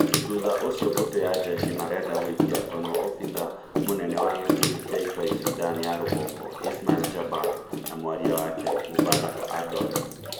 Thutha ũcio mbũtũ ya njeshi marenda gũikia ngono obithaa mũnene wa gĩkundi kĩa itoi Sudan ya Rũgongo Ismail Jabal na mwaria wake Mubarak Ardol